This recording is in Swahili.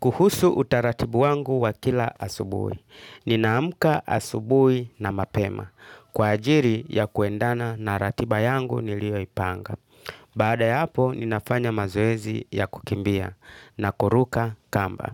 Kuhusu utaratibu wangu wa kila asubui. Ninaamka asubui na mapema. Kwa ajili ya kuendana na ratiba yangu nilioipanga. Baada ya hapo, ninafanya mazoezi ya kukimbia na kuruka kamba.